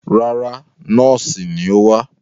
Rárá, nọ́ọ́sì ni ó wá.